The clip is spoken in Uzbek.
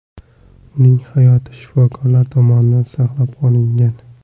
Uning hayoti shifokorlar tomonidan saqlab qolingan.